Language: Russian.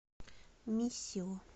миссио